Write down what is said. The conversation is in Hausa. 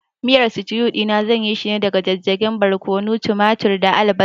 Miyan sitiu ɗina zan yishi ne daga jijjigen barƙwano, tumaturi da albasa